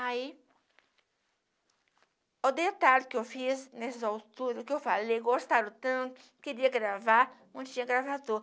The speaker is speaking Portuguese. Aí, o detalhe que eu fiz nessas alturas, o que eu falei, gostaram tanto, queria gravar, onde tinha gravador.